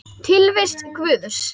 Tilvist Guðs